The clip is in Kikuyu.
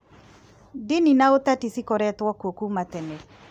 Ndini na ũteti cikoretwo kuo kuuma tene